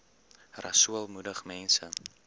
rasool moedig mense